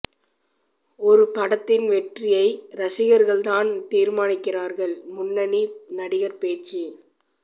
ஒரு படத்தின் வெற்றியை ரசிகர்கள் தான் தீர்மானிக்கிறார்கள் முன்னணி நடிகர் பேச்சு